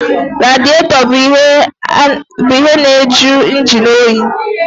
Radịètọ bụ ihe na-jụ injin oyi